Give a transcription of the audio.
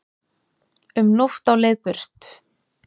Um nótt á leið burt